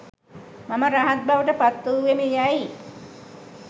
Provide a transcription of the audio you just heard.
මම රහත් බවට පත් වූවෙමි යැයි